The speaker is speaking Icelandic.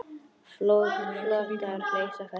Flotar leysa festar.